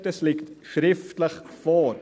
Dies liegt schriftlich vor.